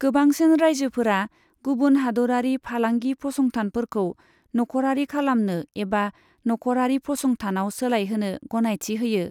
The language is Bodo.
गोबांसिन रायजोफोरा गुबुन हादोरारि फालांगि फसंथानफोरखौ नखरारि खालामनो एबा नखरारि फसंथानाव सोलायहोनो गनायथि होयो।